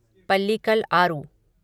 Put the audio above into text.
Pallikal Aaru